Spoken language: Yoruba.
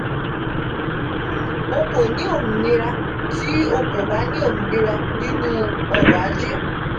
o ko ni ominira ti o ko ba ni ominira ninu ọrọ-aje.